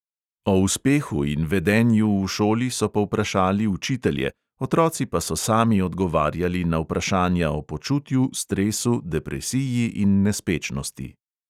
O uspehu in vedenju v šoli so povprašali učitelje, otroci pa so sami odgovarjali na vprašanja o počutju, stresu, depresiji in nespečnosti.